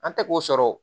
An tɛ k'o sɔrɔ o